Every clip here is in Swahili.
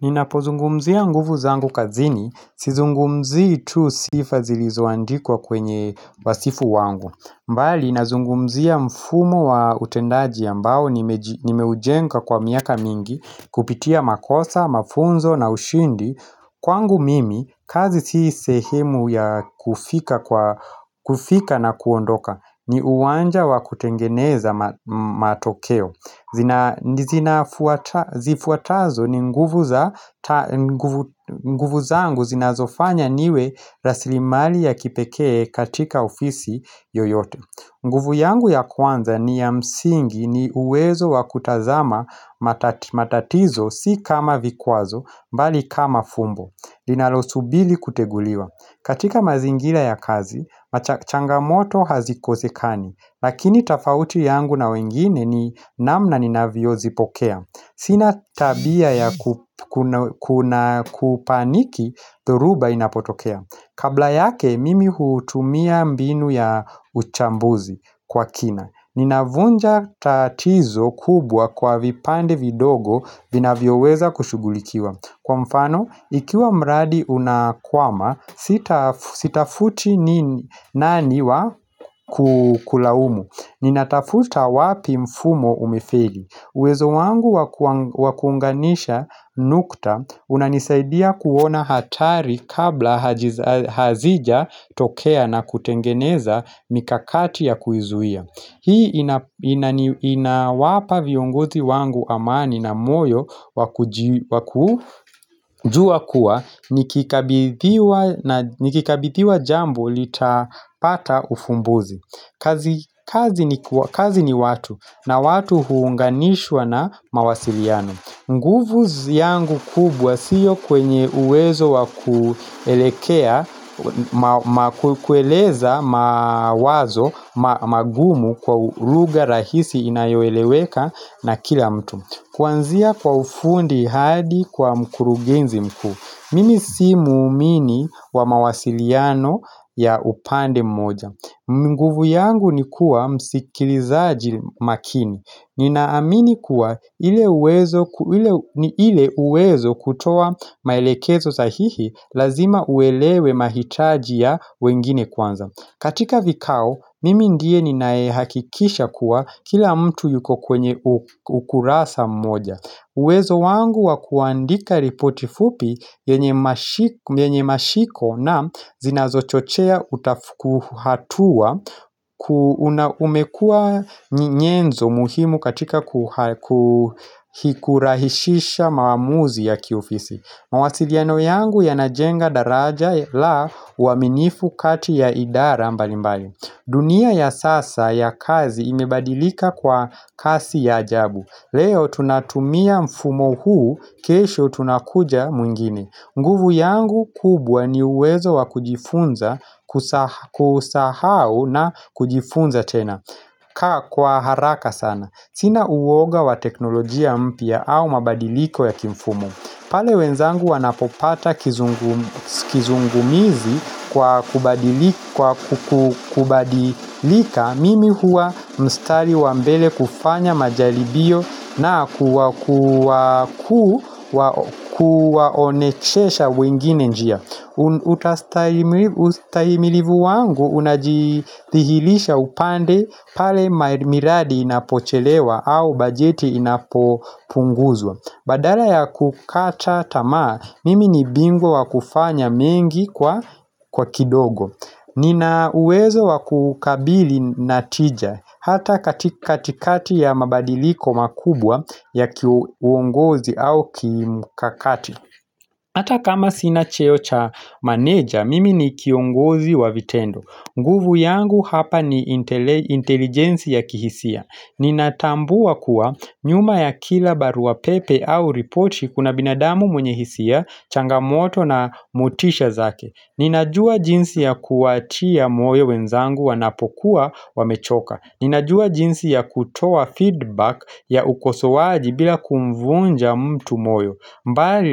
Ninapozungumzia nguvu zangu kazini, sizungumzii tu sifa zilizoandikwa kwenye wasifu wangu bali, nazungumzia mfumo wa utendaji ambao nimeujenga kwa miaka mingi Kupitia makosa, mafunzo na ushindi Kwangu mimi, kazi si sehemu ya kufika na kuondoka ni uwanja wa kutengeneza matokeo Zifuatazo ni nguvu za zangu zinazofanya niwe rasilimali ya kipekee katika ofisi yoyote nguvu yangu ya kwanza ni ya msingi ni uwezo wa kutazama matatizo si kama vikuazo mbali kama fumbo Linalosubiri kuteguliwa katika mazingira ya kazi, changamoto hazikosekani Lakini tofauti yangu na wengine ni namna ninavyozipokea Sina tabia ya kupaniki, dhoruba inapotokea Kabla yake, mimi hutumia mbinu ya uchambuzi kwa kina Ninavunja tatizo kubwa kwa vipande vidogo vinavyoweza kushughulikiwa Kwa mfano, ikiwa mradi unakwama, sitafuti nani wa kulaumu Ninatafuta wapi mfumo umefeli Wezo wangu wa kuunganisha nukta unanisaidia kuona hatari kabla hazijatokea na kutengeneza mikakati ya kuizuia Hii inawapa viongozi wangu amani na moyo wa kujua kuwa nikikabithiwa jambo litapata ufumbuzi kazi ni watu na watu huunganishwa na mawasiliano nguvu yangu kubwa siyo kwenye uwezo wa kuelekea, kueleza mawazo, magumu kwa lugha rahisi inayoeleweka na kila mtu. Kwanzia kwa ufundi hadi kwa mkurugenzi mkuu. Mimi si muumini wa mawasiliano ya upande mmoja. Nguvu yangu ni kuwa msikilizaji makini. Ninaamini kuwa ni ile uwezo kutoa maelekezo sahihi lazima uelewe mahitaji ya wengine kwanza katika vikao, mimi ndiye ninayehakikisha kuwa kila mtu yuko kwenye ukurasa mmoja uwezo wangu wa kuandika ripoti fupi yenye mashiko na zinazochochea utafuku hatua umekua nyenzo muhimu katika kurahisisha maamuzi ya kiofisi mawasiliano yangu yanajenga daraja la uaminifu kati ya idara mbali mbali dunia ya sasa ya kazi imebadilika kwa kasi ya ajabu Leo tunatumia mfumo huu, kesho tunakuja mwingine nguvu yangu kubwa ni uwezo wa kujifunza kusahau na kujifunza tena kaa kwa haraka sana Sina uwoga wa teknolojia mpya au mabadiliko ya kimfumo pale wenzangu wanapopata kizungumizi kwa kubadilika Mimi huwa mstari wa mbele kufanya majaribio na kuwaonechesha wengine njia ustahimilivu wangu unajidhihirisha upande pale miradi inapochelewa au bajeti inapopunguzwa Badala ya kukata tamaa, mimi ni bingwa wa kufanya mengi kwa kidogo Nina uwezo wa kukabili na tija hata katikati ya mabadiliko makubwa ya kiuongozi au kimukakati Hata kama sina cheo cha manager, mimi ni kiongozi wa vitendo nguvu yangu hapa ni intelijensi ya kihisia Ninatambua kuwa nyuma ya kila barua pepe au ripoti kuna binadamu mwenye hisia, changamoto na motisha zake Ninajua jinsi ya kuwatia moyo wenzangu wanapokuwa wamechoka Ninajua jinsi ya kutoa feedback ya ukosowaji bila kumvunja mtu moyo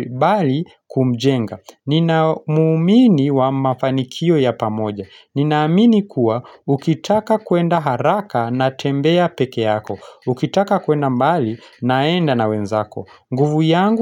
bali kumjenga Ninamuumini wa mafanikio ya pamoja Ninaamini kuwa ukitaka kuenda haraka na tembea peke yako Ukitaka kuenda mbali naenda na wenzako nguvu yangu.